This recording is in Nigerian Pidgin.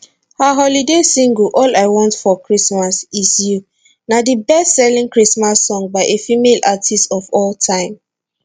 her holiday single all i want for christmas is you na di bestselling christmas song by a female artist of all time